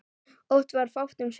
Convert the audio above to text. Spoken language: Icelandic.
Oft var fátt um svör.